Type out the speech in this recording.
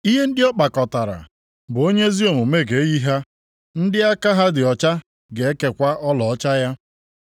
ihe ndị ọ kpakọtara bụ onye ezi omume ga-eyi ha, ndị aka ha dị ọcha ga-ekekwa ọlaọcha ya.